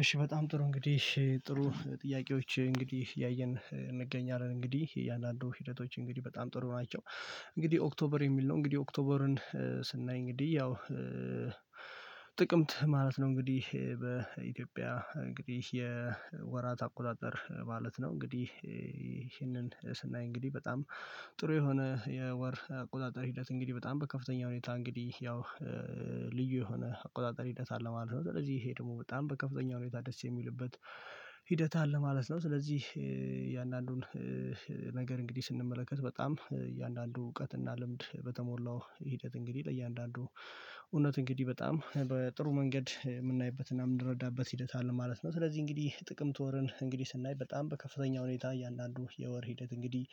እሺ በጣም ጥሩ እንግዲህ ጥሩ ጥያቄዎች እንግዲህ እያየን እንገኛለን እንግዲህ እያንዳንዱ ሂደቶች እንግዲህ በጣም ጥሩ ናቸው። እንግዲህ ኦክቶበር የሚል ነው እንግዲህ ኦክቶበርን ስናይ እንግዲህ ያው ጥቅምት ማለት ነው። እንግዲህ በኢትዮጵያ እንግዲህ የወራት አቆጣጠር ማለት ነው። እንግዲህ ይሄንን ስናይ እንግዲህ በጣም ጥሩ የሆነ የወር አቆጣጠር ሂደት እንግዲህ በጣም በከፍተኛ ሁኔታ እንግዲህ ያው ልዩ የሆነ አቆጣጠር ሂደት አለ ማለት ነው። ስለዚህ ይሄ ደግሞ በጣም በከፍተኛ ሁኔታ ደስ የሚልበት ሂደት አለ ማለት ነው። ስለዚህ እያንዳንዱን ነገር እንግዲህ ስንመለከት በጣም እያንዳንዱ እውቀት እና ልምድ በተሞላው ሂደት እንግዲህ ለእያንዳንዱ እውነት እንግዲህ በጣም በጥሩ መንገድ የምናይበት እና የምንረዳበት ሂደት አለ ማለት ነው። ስለዚህ እንግዲህ ጥቅምት ወርን እንግዲህ ስናይ በጣም በከፍተኛ ሁኔታ እያንዳንዱ የወር ሂደት እንግዲህ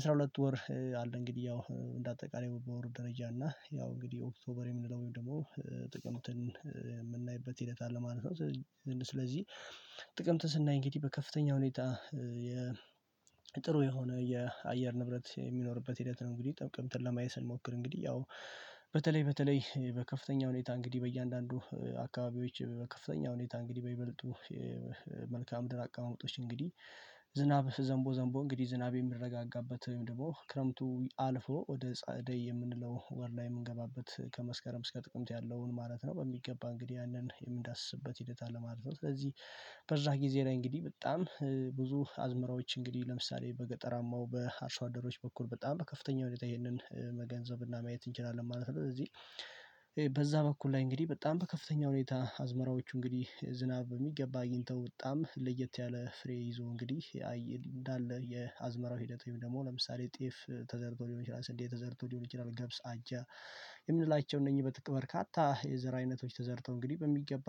አስራ ሁለት ወር አለ። እንግዲህ ያው እንደ አጠቃላይ በወር ደረጃ እና ያው እንግዲህ ኦክቶበር የምንለው ወይም ደግሞ ጥቅምትን የምናይበት ሂደት አለ ማለት ነው። ስለዚ ስለዚህ ጥቅምት ስናይ እንግዲህ በከፍተኛ ሁኔታ የ ጥሩ የሆነ የአየር ንብረት የሚኖርበት ሂደት ነው። እንግዲህ ጥቅምትን ለማየት ስንሞክር እንግዲህ ያው በተለይ በተለይ በከፍተኛ ሁኔታ እንግዲህ በእያንዳንዱ አካባቢዎች በከፍተኛ ሁኔታ እንግዲህ በይበልጡ መልካም ድር አቀማመጦችን እንግዲህ ዝናብ ዘምቦ ዘምቦ እንግዲህ ዝናብ የሚረጋጋበት ወይም ደግሞ ክረምቱ አልፎ ወደ ጸአደይ የምንለው ወር ላይ የምንገባበት ከመስከረም እስከ ጥቅምት ያለውን ማለት ነው በሚገባ እንግዲህ ያንን የምንዳስስበት ሂደት አለ ማለት ነው። ስለዚህ በዛ ጊዜ ላይ እንግዲህ በጣም ብዙ አዝመራዎች እንግዲህ ለምሳሌ በገጠራማው በአርሶ አደሮች በኩል በጣም በከፍተኛ ሁኔታ ይሄንን መገንዘብ እና ማየት እንችላለን ማለት ነው። እዚህ በዛ በኩል ላይ እንግዲህ በጣም በከፍተኛ ሁኔታ አዝመራዎቹ እንግዲህ ዝናብ በሚገባ አግኝተው በጣም ለየት ያለ ፍሬ ይዞ እንግዲህ አይ እንዳለ የአዝመራው ሂደት ወይም ደግሞ ለምሳሌ ጤፍ ተዘርቶ ሊሆን ይችላል ስንዴ ተዘርቶ ሊሆን ይችላል ገብስ አጃ የምንላቸው እነኚህ በጥቅ በርካታ የዘር አይነቶች ተዘርተው እንግዲህ በሚገባ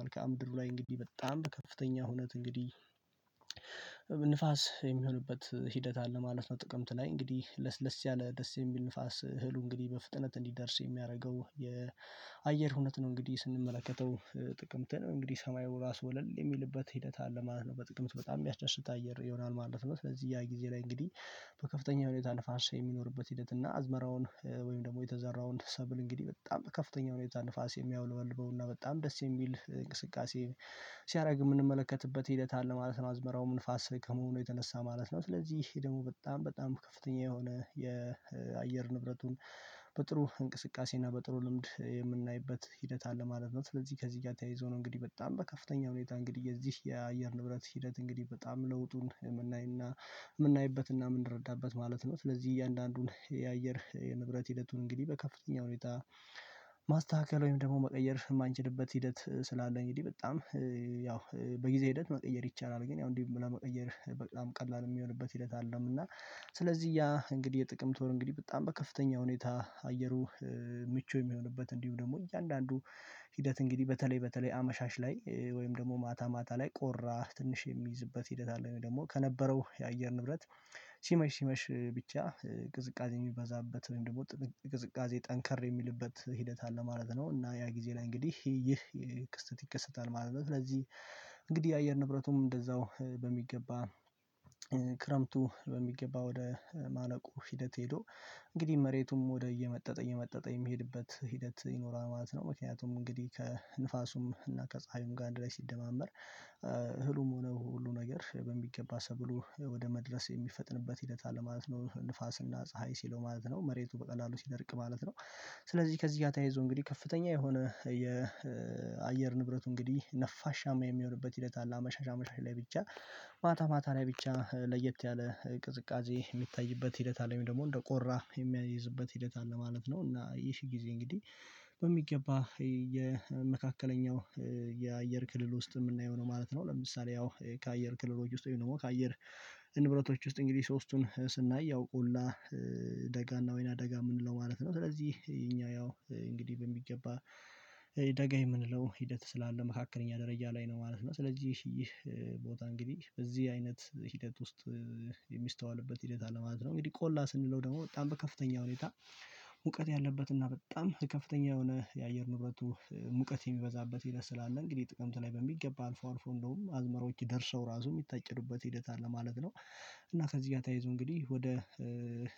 መልካም ድሩ ላይ እንግዲህ በጣም በከፍተኛ ሁነት እንግዲህ ንፋስ የሚሆንበት ሂደት አለ ማለት ነው። ጥቅምት ላይ እንግዲህ ለስለስ ያለ ደስ የሚል ንፋስ እህሉ እንግዲህ በፍጥነት እንዲደርስ የሚያረገው የአየር ሁኔት ነው። እንግዲህ ስንመለከተው ጥቅምትን እንግዲህ ሰማዩ ራሱ ወለል የሚልበት ሂደት አለ ማለት ነው። በጥቅምት በጣም ሚያስደስት አየር ይሆናል ማለት ነው። ስለዚህ ያ ጊዜ ላይ እንግዲህ በከፍተኛ ሁኔታ ንፋስ የሚኖርበት ሂደት እና አዝመራውን ወይም ደግሞ የተዘራውን ሰብል እንግዲህ በጣም በከፍተኛ ሁኔታ ንፋስ የሚያውለበልበው እና በጣም ደስ የሚል እንቅስቃሴ ሲያረግ እምንመለከትበት ሂደት አለ ማለት ነው። አዝመራውም ንፋስ ከመሆኑ የተነሳ ማለት ነው። ስለዚህ ይሄ ደግሞ በጣም በጣም ከፍተኛ የሆነ የአየር ንብረቱን በጥሩ እንቅስቃሴ እና በጥሩ ልምድ የምናይበት ሂደት አለ ማለት ነው። ስለዚህ ከዚህ ጋር ተያይዞ ነው እንግዲህ በጣም በከፍተኛ ሁኔታ እንግዲህ የዚህ የአየር ንብረት ሂደት እንግዲህ በጣም ለውጡን የምናይ እና ምናይበት እና ምንረዳበት ማለት ነው። ስለዚህ እያንዳንዱን የአየር የንብረት ሂደቱን እንግዲህ በከፍተኛ ሁኔታ ማስተካከል ወይም ደግሞ መቀየር የማንችልበት ሂደት ስላለ እንግዲህ በጣም ያው በጊዜ ሂደት መቀየር ይቻላል ግን ያው እንዲሁ ለመቀየር በጣም ቀላል የሚሆንበት ሂደት አለም። እና ስለዚህ ያ እንግዲህ የጥቅምት ወር እንግዲህ በጣም በከፍተኛ ሁኔታ አየሩ ምቹ የሚሆንበት እንዲሁ ደግሞ እያንዳንዱ ሂደት እንግዲህ በተለይ በተለይ አመሻሽ ላይ ወይም ደግሞ ማታ ማታ ላይ ቆራ ትንሽ የሚይዝበት ሂደት አለ ወይ ደግሞ ከነበረው የአየር ንብረት ሲመሽ ሲመሽ ብቻ ቅዝቃዜ የሚበዛበት ወይም ደግሞ ጥዝ ቅዝቃዜ ጠንከር የሚልበት ሂደት አለ ማለት ነው። እና ያ ጊዜ ላይ እንግዲህ ይህ ክስተት ይከሰታል ማለት ነው። ስለዚህ እንግዲህ የአየር ንብረቱም እንደዛው በሚገባ ክረምቱ በሚገባ ወደ ማለቁ ሂደት ሄዶ እንግዲህ መሬቱም ወደ እየመጠጠ እየመጠጠ የሚሄድበት ሂደት ይኖራል ማለት ነው። ምክንያቱም እንግዲህ ከንፋሱም እና ከፀሀዩም ጋር አንድ ላይ ሲደማመር እህሉም ሆነ ሁሉ ነገር በሚገባ ሰብሉ ወደ መድረስ የሚፈጥንበት ሂደት አለ ማለት ነው። ንፋስ እና ፀሀይ ሲለው ማለት ነው መሬቱ በቀላሉ ሲደርቅ ማለት ነው። ስለዚህ ከዚህ ጋር ተያይዞ እንግዲህ ከፍተኛ የሆነ የአየር ንብረቱ እንግዲህ ነፋሻማ የሚሆንበት ሂደት አለ። አመሻሽ አመሻሽ ላይ ብቻ ማታ ማታ ላይ ብቻ ለየት ያለ ቅዝቃዜ የሚታይበት ሂደት አለ ወይም ደግሞ እንደ ቆራ የሚያይዝበት ሂደት አለ ማለት ነው። እና የሺ ጊዜ እንግዲህ በሚገባ የመካከለኛው የአየር ክልል ውስጥ እምናየው ነው ማለት ነው። ለምሳሌ ያው ከአየር ክልሎች ውስጥ ወይም ደግሞ ከአየር ንብረቶች ውስጥ እንግዲህ ሶስቱን ስናይ ያው ቆላ ደጋ እና ወይናደጋ ምንለው ማለት ነው። ስለዚህ እኛ ያው እንግዲህ በሚገባ ደጋ የምንለው ሂደት ስላለ መካከለኛ ደረጃ ላይ ነው ማለት ነው። ስለዚህ ይህ ቦታ እንግዲህ በዚህ አይነት ሂደት ውስጥ የሚስተዋልበት ሂደት አለ ማለት ነው። እንግዲህ ቆላ ስንለው ደግሞ በጣም በከፍተኛ ሁኔታ ሙቀት ያለበት እና በጣም በከፍተኛ የሆነ የአየር ንብረቱ ሙቀት የሚበዛበት ሂደት ስላለ እንግዲህ ጥቅምት ላይ በሚገባ አልፎ አልፎ እንደውም አዝመራዎች ደርሰው ራሱ ሚታጨዱበት ሂደት አለ ማለት ነው። እና ከዚህ ጋር ታያይዞ እንግዲህ ወደ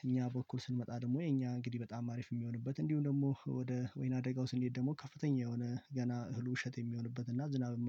እኛ በኩል ስንመጣ ደግሞ የኛ እንግዲህ በጣም አሪፍ የሚሆንበት እንዲሁም ደግሞ ወደ ወይናደጋው ስንሄድ ደግሞ ከፍተኛ የሆነ ገና እህሉ እሸት የሚሆንበት እና ዝናብ